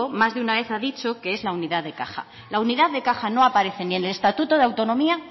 más de una vez ha dicho que es la unidad de caja la unidad de caja no aparece ni en el estatuto de autonomía